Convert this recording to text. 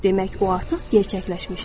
Demək, o artıq gerçəkləşmişdir.